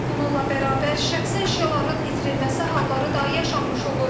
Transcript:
Bununla bərabər şəxsi əşyaların itirilməsi halları da yaşanmış olur.